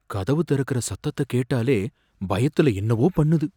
கதவு திறக்கிற சத்தத்த கேட்டாலே பயத்துல என்னவோ பண்ணுது.